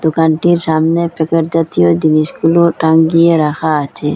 দোকানটির সামনে প্যাকেট জাতীয় জিনিসগুলো টাঙ্গিয়ে রাখা আছে।